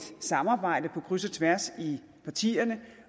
samarbejde på kryds og tværs i partierne